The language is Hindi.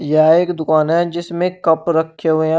यह एक दुकान है जिसमें कप रखें हुए है।